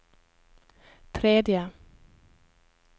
tredje